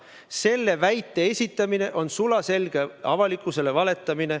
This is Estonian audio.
Selle väite esitamine on sulaselge avalikkusele valetamine.